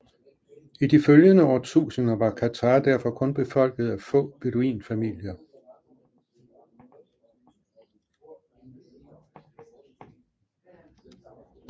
I de følgende årtusinder var Qatar derfor kun befolket af få beduinfamilier